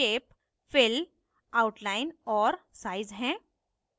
shape fill outline और size हैं